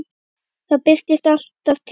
Það birtir alltaf til.